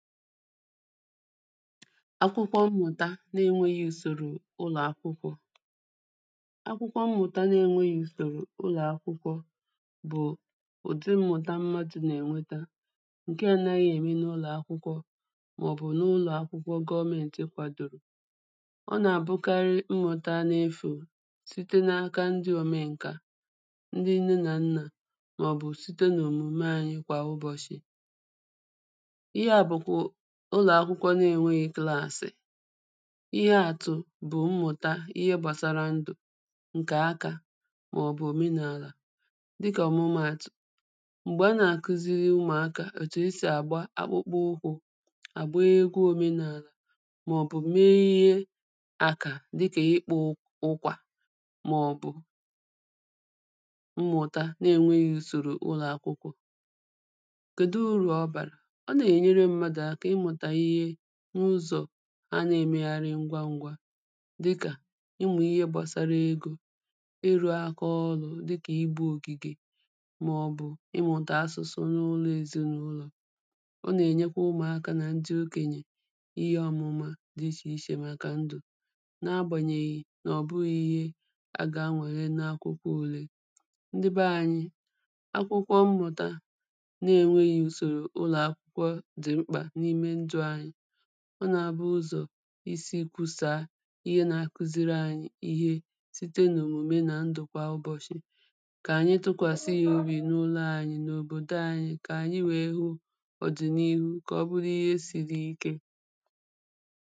akwụkwọ ṁmùta na-eṅwehị̀ ụsòrò ụlọ̀ akwụkwọ akwụkwọ ṁmùta na e ṅwehị̀ ụsòrò ụlọ̀ akwụkwọ bụ̀ ụ̀dị mmùta madụ̄ nà-ẹ̀ṅwẹta ṅkẹ ānāhị̄ è me nà-ụlọ̀ akwụkwọ mà ọ̀ bù nà-ụlọ̀ akwụkwọ gọmènti kwàdòrò ọ nà-àbụkarị ṁmụ̀tá na efò sịte na aka ndị òmeṅkà ndị nne na nnà mà ọ̀ bụ̀ sịte nà òmụ̀me anyị kwà ụbọ̀shị̀ ịhe à bụ kwu ụlọ̀ akwụkwọ nā ēṅwē klasị̀ ịhe àtụ̀ bù mmụ̀ta ịhe gbasara ndụ̀ ṅkẹ̀ akā mà ọ̀ bù òme nà àlà dị kà ọ̀mụma àtụ̀ m̀gbẹ̀ ha nà-àkwụziri ụmùakā òtù é sì à gba akpụkpụ ụhō à gba egwụ òme nà àlà mà ọ̀ bụ̀ me ịhe àkà dị kā ị kpụ ụkwà mà ọ̀ bù mmụ̀ta na-eṅwehī ụsòrò ụlọ̀ akwụkwọ kèdu urù ọ bàrà ọ nà-ènyere mmadụ̀ aka ị mụ̀tà ịhe n'ụzọ̀ ha nà-ẹ̀mẹhari ṅgwa ṅgwā dịkà ị mụ̀ ịhe gbasara egō ị rụ̄ ākā ọ̄rụ̀ dịkà ị gbụ̄ ògị̀gè màọ̀bụ̀ ị mụ̀tà asusu na olu èzịnàụlọ̀ o nà è nyekwa ụmụ̀akā nà ṅdị okènyè ịhe ọ̀mụ̀ma dị ịchè ichè màkà ṅdụ̀ na a gbànyèhè nà-ọ̀bụhị̄ ihe a gā ṅwèhe na akwụkwọ ụ̄lē ṅdi bẹ ānyị̄ akwụkwọ mmụ̀ta na e ṅwehī ụsòrò ụlọ̀ akwụkwọ dị̀ ṁkpà nà ṅdụ̄ anyị ọ nà-àbụ ụzọ̀ ịsị kwụsàa ịhe nā-akwuziri ānyị̄ ịhe sịte nà òmụ̀me nà ṅdụ̀kwà ụbọ̀shị̀ kà ànyị tụkwàsa yā obị̀ nà ụlō ānyī nà òbòdo ānyị̄ kà ànyị we hụ ọ̀dì nà-ihụ ̣ kà ọ bụlụ ịhe sīrī ị̄kē